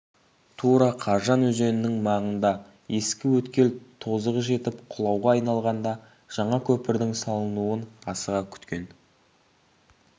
тура қаржан өзенінің маңында ескі өткел тозығы жетіп құлауға айналғанда жаңа көпірдің салынуын асыға күткен